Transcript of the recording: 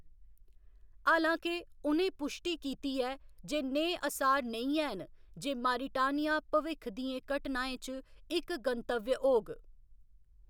हालांके, उ'नें पुश्टी कीती ऐ जे नेह् असार नेईं हैन जे मारिटानिया भविक्ख दियें घटनाएं च इक गंतव्य होग।